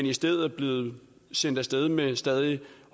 i stedet blevet sendt af sted med stadig